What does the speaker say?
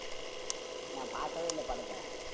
நா பாக்கவே இல்ல படத்த